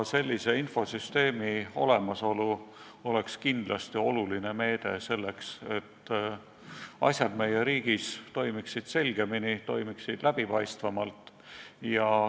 Sellise infosüsteemi olemasolu oleks kindlasti oluline meede selleks, et asjad meie riigis toimiksid selgemini ja läbipaistvamalt.